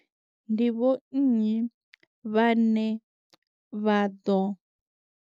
Ndi vho nnyi vhane vha ḓo.